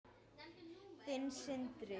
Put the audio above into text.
Þinn, Sindri.